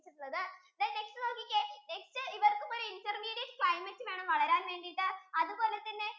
ചെയ്‌തട്ടുള്ളത് then next നോക്കിക്കേ ഇവർക്കും ഒരു intermediate climate വേണം വളരാൻ വേണ്ടിട്ടു അതുപോലെ തന്നെ